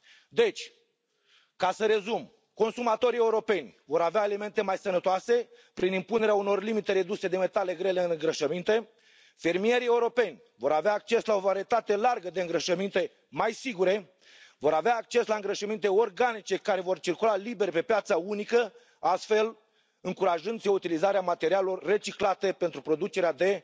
Deci, ca să rezum, consumatorii europeni vor avea alimente mai sănătoase, prin impunerea unor limite reduse de metale grele în îngrășăminte, fermierii europeni vor avea acces la o varietate largă de îngrășăminte mai sigure, vor avea acces la îngrășăminte organice care vor circula liber pe piața unică, astfel încurajându se utilizarea materialelor reciclate pentru producerea